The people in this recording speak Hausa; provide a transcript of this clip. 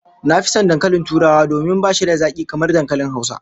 Na fi son dankalin Turawa domin bashi da zaki kamar dankalin Hausa